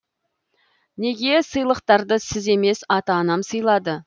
неге сыйлықтарды сіз емес ата анам сыйлады